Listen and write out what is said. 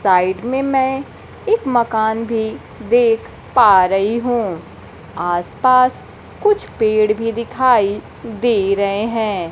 Side में मैं एक मकान भी देख पा रही हूं आसपास कुछ पेड़ भी दिखाई दे रहे हैं।